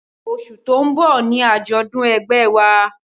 Oṣù tó ń bọ̀ ni àjọ̀dún ẹgbẹ́ ẹ wa